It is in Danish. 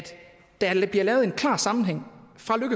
der bliver lavet en klar sammenhæng